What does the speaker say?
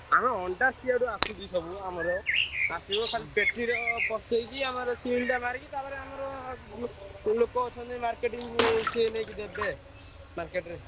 ଆରେ ଅଣ୍ଡା ସିଆଡୁ ଆସୁଛି ଆମର ଆସିବ ଖାଲି ପେଟି ରେ ପସେଇକି ଆମର seal ଟା ମାରିକି ତାପରେ ଆମର ଲୋକ ଅଛନ୍ତି marketing ସିଏ ନେଇ ଦେବେ market ରେ।